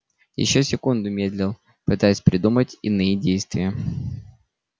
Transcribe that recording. ещё секунду медлил пытаясь придумать иные действия